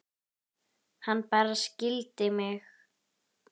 Hann bara skildi mig.